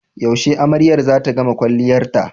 Yaushe amaryar zata gama kwalliyarta?